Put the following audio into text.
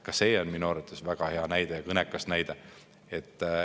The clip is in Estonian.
Ka see on minu arvates väga hea ja kõnekas näide.